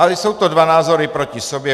Ale jsou to dva názory proti sobě.